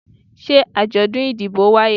se ajodun idibo waye?